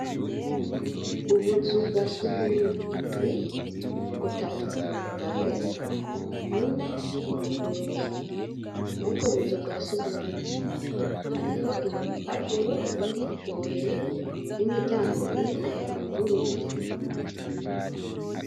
Ubuzu bwa sugumwe indwi butatu burugaye bune buruguruye mubwo buzu bwa sugumwe hariho ibipapuro biri imbere y' imiryango ine yuguruye.